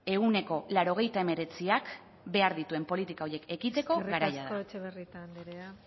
nuke ehuneko laurogeita hemeretziak behar dituen politika horiek ekiteko garaia eskerrik asko etxebarrieta andrea